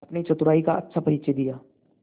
अपनी चतुराई का अच्छा परिचय दिया